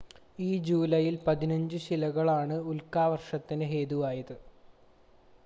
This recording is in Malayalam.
ഈ ജൂലൈയിൽ പതിനഞ്ചു ശിലകളാണ് ഉൽക്കാവർഷത്തിന് ഹേതുവായത്